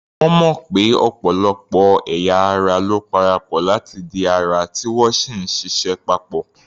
Wọ́n mọ̀ pé ọ̀pọ̀lọpọ̀ ẹ̀ya ara ló parapọ̀ láti di ara, tí wọ́n sì ń ṣịṣẹ́ pọ̀.